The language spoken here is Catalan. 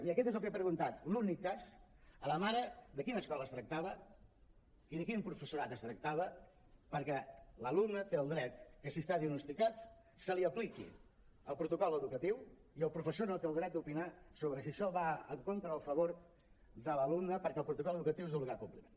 i aquest és el que he preguntat l’únic cas a la mare de quina escola es tractava i de quin professorat es tractava perquè l’alumne té el dret que si està diagnosticat se li apliqui el protocol educatiu i el professor no té dret a opinar sobre si això va en contra o a favor de l’alumne perquè el protocol educatiu és d’obligat compliment